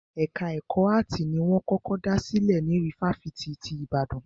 Ẹka ẹ̀kọ́ áàtì ni wọ́n kọ́kọ́ dá sílè ní ifáfitì ti Ìbàdàn.